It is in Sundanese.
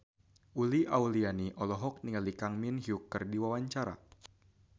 Uli Auliani olohok ningali Kang Min Hyuk keur diwawancara